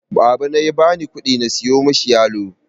Babana ya bani ƙudi na siyo mishi yalo.